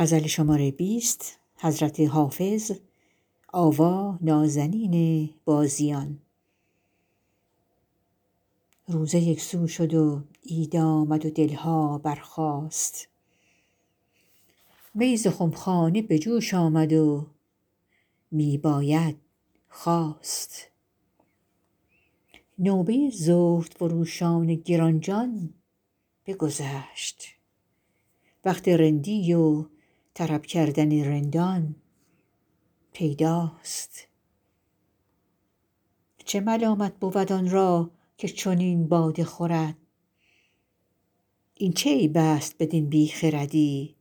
روزه یک سو شد و عید آمد و دل ها برخاست می ز خم خانه به جوش آمد و می باید خواست نوبه زهدفروشان گران جان بگذشت وقت رندی و طرب کردن رندان پیداست چه ملامت بود آن را که چنین باده خورد این چه عیب است بدین بی خردی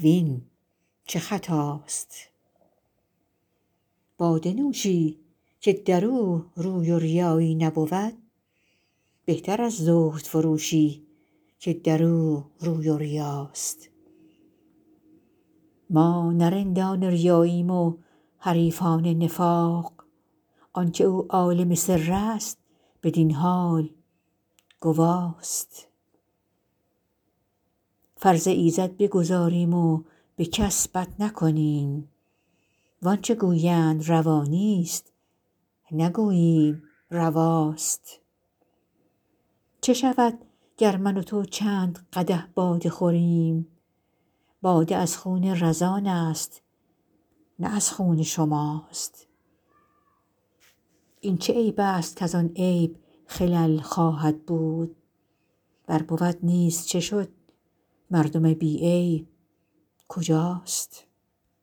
وین چه خطاست باده نوشی که در او روی و ریایی نبود بهتر از زهدفروشی که در او روی و ریاست ما نه رندان ریاییم و حریفان نفاق آن که او عالم سر است بدین حال گواست فرض ایزد بگزاریم و به کس بد نکنیم وان چه گویند روا نیست نگوییم رواست چه شود گر من و تو چند قدح باده خوریم باده از خون رزان است نه از خون شماست این چه عیب است کز آن عیب خلل خواهد بود ور بود نیز چه شد مردم بی عیب کجاست